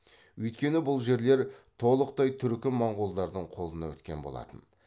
өйткені бұл жерлер толықтай түркі моңғолдардың қолына өткен болатын